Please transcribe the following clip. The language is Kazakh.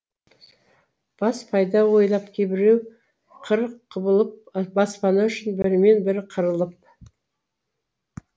бас пайда ойлап кейбіреу қырық құбылып баспана үшін бірімен бірі қырылып